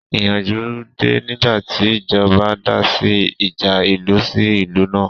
Ìyanjú dé nígbàtí ìjọba dá sí ìjà ìlú sí ìlú náà